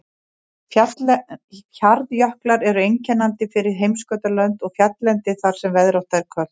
Hjarnjöklar eru einkennandi fyrir heimskautalönd og fjalllendi þar sem veðrátta er köld.